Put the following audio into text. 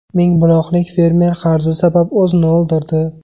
Mingbuloqlik fermer qarzi sabab o‘zini o‘ldirdi.